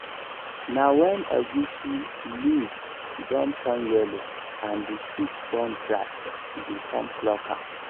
na when egusi leaves don turn yellow and the stick don dry dey con pluck am